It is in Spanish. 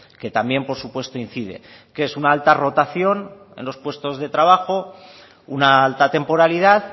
que también por supuesto incide que es una alta rotación en los puestos de trabajo una alta temporalidad